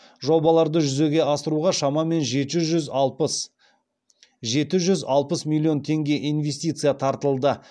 жобаларды жүзеге асыруға шамамен жеті жүз алпыс миллион млн теңге инвестиция тартылды